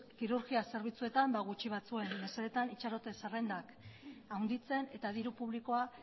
kirurgia zerbitzuetan gutxi batzuen mesedetan itxarote zerrendak handitzen eta diru publikoa